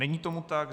Není tomu tak.